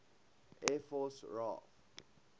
air force raaf